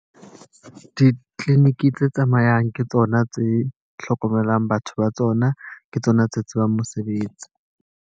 Di-clinic tse tsamayang ke tsona tse hlokomelang batho ba tsona. Ke tsona tse tsebang mosebetsi.